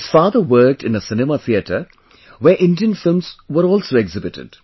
His father worked in a cinema theatre where Indian films were also exhibited